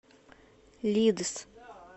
лидс